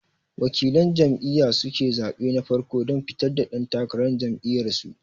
Waƙilan jam'iya suke zaɓe na farko dan fitar da ɗan takarar jam'iyar su